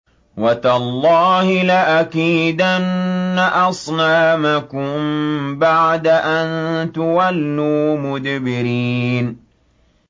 وَتَاللَّهِ لَأَكِيدَنَّ أَصْنَامَكُم بَعْدَ أَن تُوَلُّوا مُدْبِرِينَ